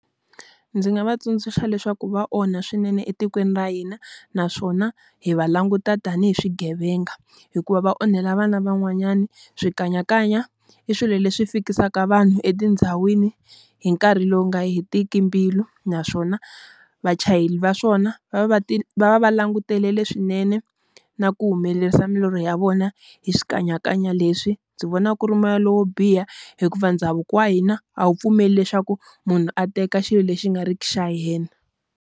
Ndzi nga va tsundzuxa leswaku va onha swinene etikweni ra hina, naswona hi va languta tanihi swigevenga hikuva va onhela vana van'wanyana. Swikanyakanya i swilo leswi fikisa mhaka vanhu etindhawini hi nkarhi lowu nga heriki mbilu, naswona vachayeri va swona va va va va langutele swinene na ku humelerisa milorho ya vona hi swikanyakanya leswi. Ndzi vona ku ri moya lowo biha hikuva ndhavuko wa hina a wu pfumeli leswaku munhu a teka xilo lexi nga ri ki xa hina.